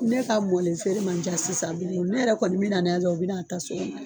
Ne ka mɔlen feere man ca sisan bilen ne yɛrɛ kɔni bi na n'a ye dɔrɔn u bi na ta so kɔnɔ